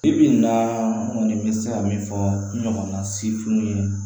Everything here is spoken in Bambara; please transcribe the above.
Bi bi in na n kɔni bɛ se ka min fɔ n ɲɔgɔnna sefinw ye